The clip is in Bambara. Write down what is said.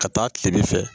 Ka taa tile fɛ